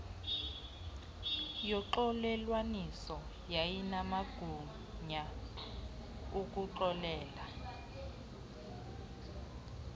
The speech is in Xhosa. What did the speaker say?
yoxolelwaniso yayinamagunya okuxolela